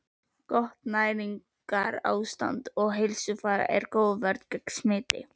Gott næringarástand og heilsufar er góð vörn gegn smiti.